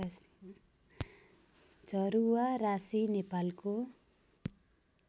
झरुवाराशी नेपालको